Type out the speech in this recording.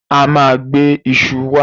A ma gbe iṣu wá